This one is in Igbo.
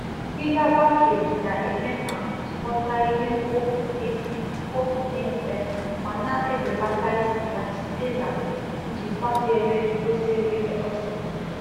Akpa igwe ebe a na etịnye ọkụkọ na eme ka nkpochapụ nsị ọkụkụ dị mfe ma na mfe ma na ebelatakwa usi site na-ezigbo nlekọta